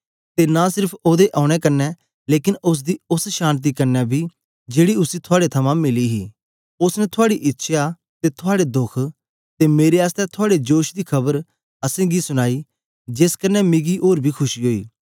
ते नां सेर्फ ओदे औने कन्ने लेकन ओसदी ओस शान्ति कन्ने बी जेड़ी उसी थुआड़े थमां मिली ही ओसने थुआड़ी इच्छया ते थुआड़े दोख ते मेरे आसतै थुआड़े जोश दी खबर असेंगी सुनीई जेस कन्ने मिकी ओर बी खुशी ओई